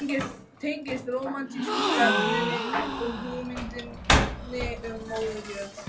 Hún tengdist rómantísku stefnunni og hugmyndinni um móður jörð.